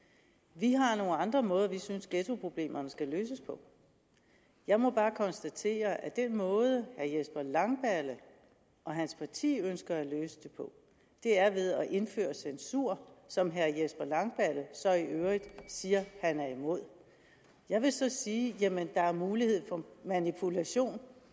vi har nogle andre måder vi synes ghettoproblemerne skal løses på jeg må bare konstatere at den måde herre jesper langballe og hans parti ønsker at løse det på er ved at indføre censur som herre jesper langballe så i øvrigt siger han er imod jeg vil så sige at der er mulighed for manipulation